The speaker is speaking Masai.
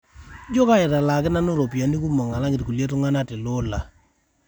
ijio kaitalaaki nanu ropiyani kumok alang ilkulie ntungana tele ola